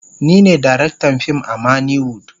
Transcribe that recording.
Ni ne darektan fim a manny wood.